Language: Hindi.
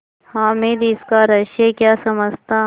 हामिद इसका रहस्य क्या समझता